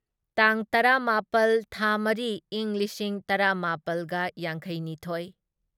ꯇꯥꯡ ꯇꯔꯥꯃꯥꯄꯜ ꯊꯥ ꯃꯔꯤ ꯢꯪ ꯂꯤꯁꯤꯡ ꯇꯔꯥꯃꯥꯄꯜꯒ ꯌꯥꯡꯈꯩꯅꯤꯊꯣꯢ